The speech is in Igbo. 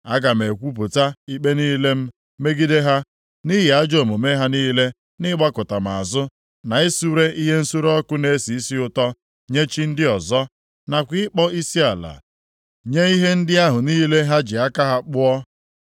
Aga m ekwupụta ikpe niile m megide ha, nʼihi ajọ omume ha niile nʼịgbakụta m azụ, na isure ihe nsure ọkụ na-esi isi ụtọ nye chi ndị ọzọ, nakwa ịkpọ isiala nye ihe ndị ahụ niile ha ji aka ha kpụọ.